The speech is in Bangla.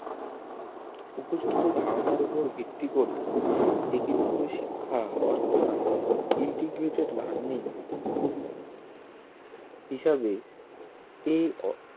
উপর্যুক্ত ধারনার উপর ভিত্তি করে একীভূত শিক্ষা অর্থাৎ integrated learning হিসাবে এই